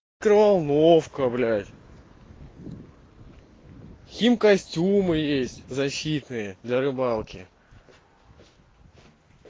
микроволновка блять химкостюмы есть защитные для рыбалки